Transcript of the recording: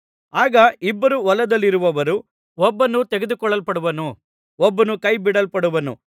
ಆಗ ಇಬ್ಬರು ಹೊಲದಲ್ಲಿರುವರು ಒಬ್ಬನು ತೆಗೆದುಕೊಳ್ಳಲ್ಪಡುವನು ಒಬ್ಬನು ಕೈ ಬಿಡಲ್ಪಡುವನು